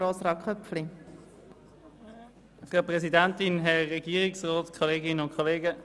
Für die glp-Fraktion hat Grossrat Köpfli das Wort.